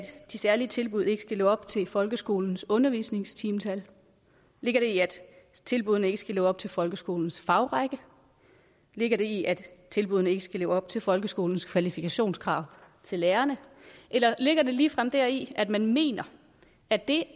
de særlige tilbud ikke skal leve op til folkeskolens undervisningstimetal ligger det i at tilbuddene ikke skal leve op til folkeskolens fagrække ligger det i at tilbuddene ikke skal leve op til folkeskolens kvalifikationskrav til lærerne eller ligger det ligefrem deri at man mener at det